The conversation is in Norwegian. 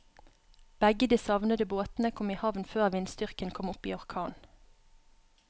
Begge de savnede båtene kom i havn før vindstyrken kom opp i orkan.